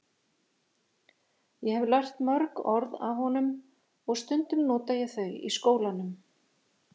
Ég hef lært mörg orð af honum og stundum nota ég þau í skólanum.